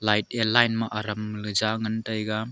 light yah line ma Arum le jangan taiga.